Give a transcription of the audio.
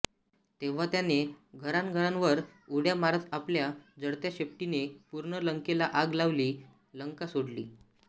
तेव्हा त्याने घरांघरांवर उड्या मारत आपल्या जळत्या शेपटीने पूर्ण लंकेला आग लावली लंका सोडली